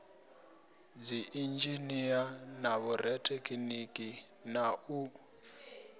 dziinzhinia na vhorathekhiniki na u